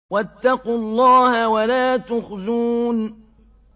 وَاتَّقُوا اللَّهَ وَلَا تُخْزُونِ